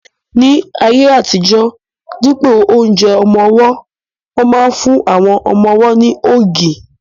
Ní ayé àtijọ́, dípò oúnjẹ ọmọ-ọwọ́, wọ́n máa n fún àwọn ọmọ-ọwọ́ ní ògì